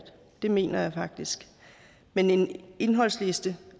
det mener jeg faktisk men en indholdsliste